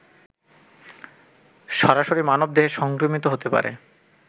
সরাসরি মানবদেহে সংক্রমিত হতে পারে